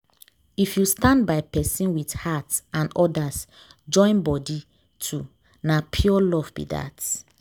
if you stand by person with heart and others join body too na pure love be that.